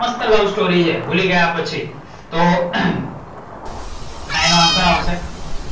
મસ્ત love story છે ભૂલી ગયા પછી. તો, આ એનો answer આવશે.